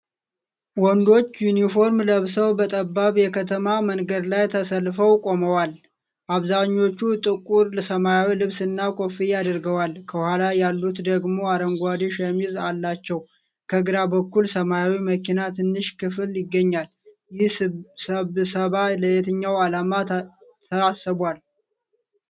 ወንዶች ዩኒፎርም ለብሰው በጠባብ የከተማ መንገድ ላይ ተሰልፈው ቆመዋል። አብዛኞቹ ጥቁር ሰማያዊ ልብስና ኮፍያ አድርገዋል፤ ከኋላ ያሉት ደግሞ አረንጓዴ ሸሚዝ አላቸው። ከግራ በኩል ሰማያዊ መኪና ትንሽ ክፍል ይገኛል። ይህ ስብስብ ለየትኛው ዓላማ ተሰብስቧል?